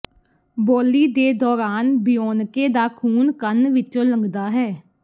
ਬੋਲੀ ਦੇ ਦੌਰਾਨ ਬਿਓਨਕੇ ਦਾ ਖੂਨ ਕੰਨ ਵਿੱਚੋਂ ਲੰਘਦਾ ਹੈ